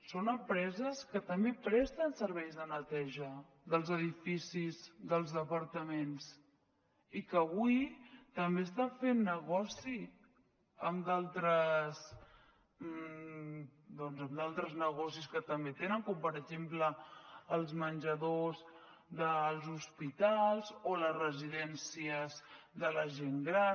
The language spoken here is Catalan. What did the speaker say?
són empreses que també presten serveis de neteja dels edificis dels departaments i que avui també estan fent negoci amb d’altres negocis que també tenen com per exemple els menjadors dels hospitals o les residències de la gent gran